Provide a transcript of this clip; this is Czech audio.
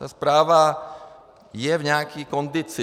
Ta správa je v nějaké kondici.